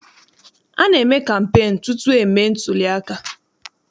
A na-eme kampeenu tutu e mee ntuliaka.